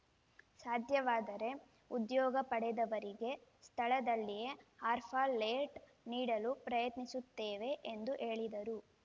ಸಾಧ್ಯವಾದರೆ ಉದ್ಯೋಗ ಪಡೆದವರಿಗೆ ಸ್ಥಳದಲ್ಲಿಯೇ ಆರ್‌ಫ ಲೆಟ್ ನೀಡಲು ಪ್ರಯತ್ನಿಸುತ್ತೇವೆ ಎಂದು ಹೇಳಿದರು